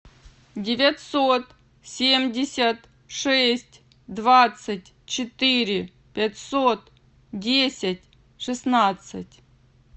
девятьсот семьдесят шесть двадцать четыре пятьсот десять шестнадцать